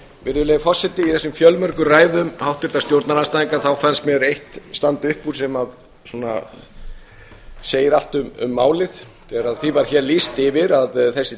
virðulegi forseti í þessum fjölmörgu ræðum háttvirtra stjórnarandstæðinga þá fannst mér eitt standa upp úr sem svona segir allt um málið þegar því var hér lýst yfir að þessi